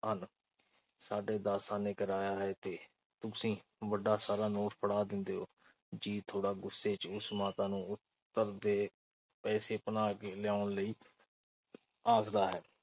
ਹਨ। ਸਾਢੇ ਦਸ ਆਨੇ ਕਿਰਾਇਆ ਹੈ ਤੇ ਤੁਸੀਂ ਵੱਡਾ ਸਾਰਾ ਨੋਟ ਫੜਾ ਦਿੰਦੇ ਓ। ਜੀਤ ਥੋੜ੍ਹਾ ਗੁੱਸੇ ਚ ਉਸ ਮਾਤਾ ਨੂੰ ਅੱਗੇ ਪੈਸੇ ਭਨਾ ਕੇ ਲਿਆਉਣ ਲਈ ਆਖਦਾ ਹੈ।